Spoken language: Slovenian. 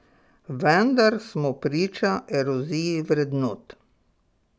Vendar smo priča eroziji vrednot.